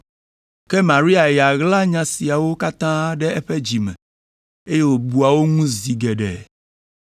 Ke Maria ya ɣla nya siawo katã ɖe eƒe dzi me, eye wòbua wo ŋu zi geɖe.